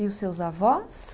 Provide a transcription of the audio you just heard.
E os seus avós?